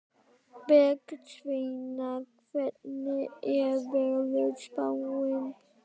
Bergsveina, hvernig er veðurspáin?